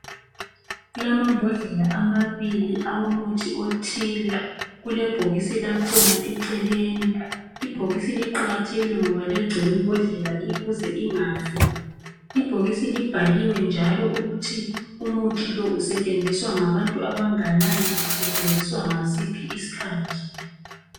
Kulamambhodlela amabili awomuthi othile kulebhokisi lakhona eceleni. Ibhokisi liqakathekile. Kulamambhodlela amabili awomuthi othile kelebhokisi lakhona eceleni ibhokisi liqakathekile ngoba liyagcina imbodlela ukuze ingafi ibhokisi libhaliwe njalo ukuthi umuthi lo usetshenziswa ngabantu abanganani usetshenziswa ngasiphi isikhathi